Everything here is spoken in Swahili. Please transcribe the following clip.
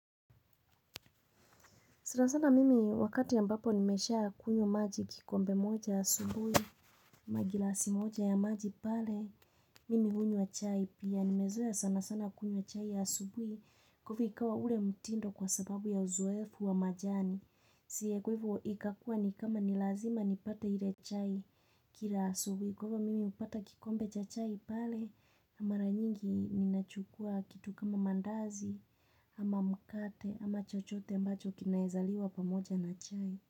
Sana sana mimi wakati ambapo nimeshaa kunywa maji kikombe moja asubuhi, ama gilasi moja ya maji pale, mimi hunywa chai pia. Nimezoa sana sana kunywa chai ya asubuhi kufikawa ule mtindo kwa sababu ya uzoefu wa majani. Siye nguvu ikakua ni kama nilazima nipata ile chai kila asubuhi. Kwa hivyo mimi hupata kikombe cha chai pale, na mara nyingi ni nachukua kitu kama mandazi, ama mkate, ama chochote ambacho kinaezaliwa pamoja na chai.